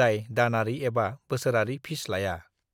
जाय दानारि एबा बोसोरारि फिस लाया।